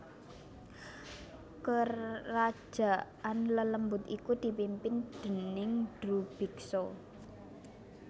Kerajaan lelembut iku dipimpin déning Drubiksa